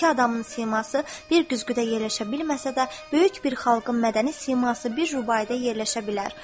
İki adamın siması bir güzgüdə yerləşə bilməsə də, böyük bir xalqın mədəni siması bir rubaidə yerləşə bilər.